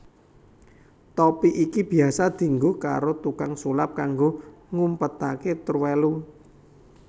Topi iki biyasa dienggo karo tukang sulap kanggo ngumpetaké terwelu